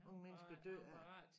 Om man skal dø af